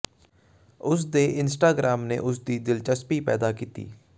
ਉਸ ਦੇ ਇੰਸਟਾਗ੍ਰਾਮ ਨੇ ਉਸ ਦੀ ਦਿਲਚਸਪੀ ਪੈਦਾ ਕੀਤੀ